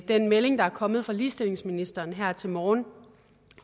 den melding der er kommet fra ligestillingsministeren her til morgen